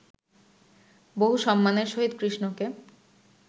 বহু সম্মানের সহিত কৃষ্ণকে